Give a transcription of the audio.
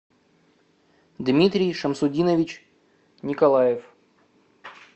дмитрий шамсудинович николаев